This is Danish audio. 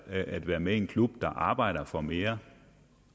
at være med i en klub der arbejder for mere